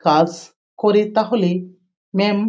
কাস করে তাহলে ম্যাম --